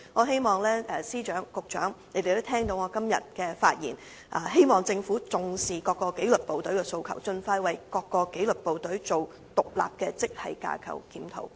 希望司長、局長聽到我今天的發言後，能重視各個紀律部隊的訴求，盡快為他們進行獨立的職系架構檢討。